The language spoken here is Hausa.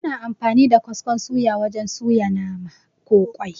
Ana amfani da kaskon suya wajen suya nama, ko ƙwai